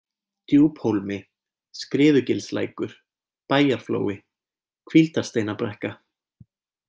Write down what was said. Djúphólmi, Skriðugilslækur, Bæjarflói, Hvíldarsteinabrekka